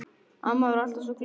Amma var alltaf svo glöð.